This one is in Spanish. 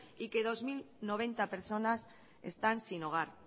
y que dos mil noventa personas están sin hogar